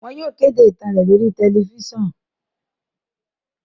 Wọn yóò kede itan rẹ lori tẹlifisiọnu